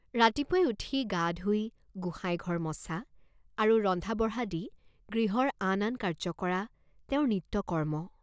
ৰাতিপুৱাই উঠি গা ধুই গোসাইঘৰ মছা আৰু ৰন্ধাবঢ়াদি গৃহৰ আন আন কাৰ্য্য কৰা তেওঁৰ নিত্যকৰ্ম্ম।